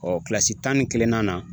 kilasi tan ni kelenna na